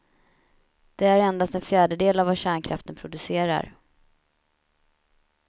Det är endast en fjärdedel av vad kärnkraften producerar.